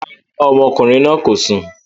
Rárá, àwọn ọmọkùnrin náà kò sùn